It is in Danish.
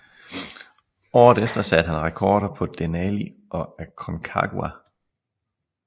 Året efter satte han rekorder på Denali og Aconcagua